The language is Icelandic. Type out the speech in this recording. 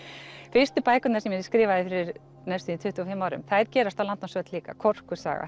fyrstu bækurnar sem ég skrifaði fyrir næstum því tuttugu og fimm árum þær gerast á landnámsöld líka